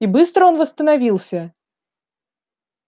и быстро он восстановился